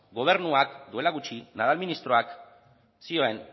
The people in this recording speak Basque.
gobernuak duela gutxi nadal ministroak zioen